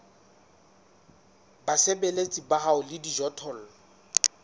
basebeletsi ba hao le dijothollo